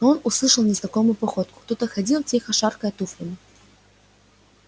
но он услышал незнакомую походку кто-то ходил тихо шаркая туфлями